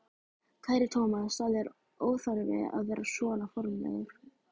Kæri Thomas, það er óþarfi að vera svona formlegur.